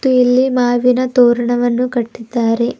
ಮತ್ತೆ ಇಲ್ಲಿ ಮಾವಿನ ತೋರಣವನ್ನು ಕಟ್ಟಿದ್ದಾರೆ.